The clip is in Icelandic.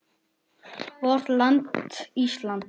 VORT LAND ÍSLAND